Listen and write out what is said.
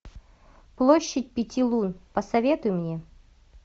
площадь пяти лун посоветуй мне